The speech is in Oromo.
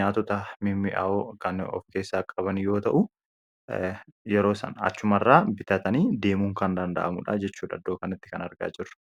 nyaatota mimi'awoo kan of keessaa qaban yoo ta'u yeroo san achuma irraa bitatanii deemuun kan danda’amudha jechuudh iddoo kanatti kan arga jirru